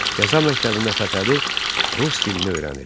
Qəza məktəbində Fətəli rus dilini öyrənir.